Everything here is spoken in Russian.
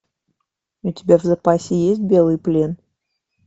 у тебя в запасе есть белый плен